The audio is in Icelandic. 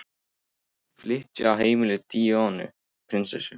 Flytja á heimili Díönu prinsessu